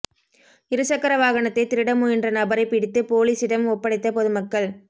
இருசக்கர வாகனத்தை திருட முயன்ற நபரை பிடித்து போலீஸிடம் ஒப்படைத்த பொதுமக்கள்